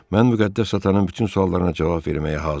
Mən müqəddəs atanın bütün suallarına cavab verməyə hazıram.